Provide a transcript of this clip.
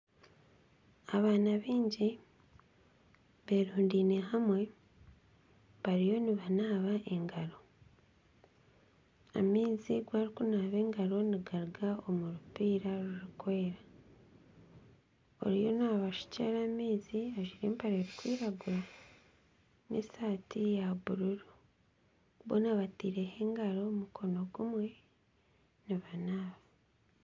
Abaana baingi berundiine hamwe bariyo nibanaaba engaro. Amaizi agu barikunaaba engaro nigaruga omurupiira ririkwera. Oriyo nabashukira amaizi ajwire empare erikwiragura n'empare ya bururu. Boona batiireho engaro mukono gumwe nibanaaba.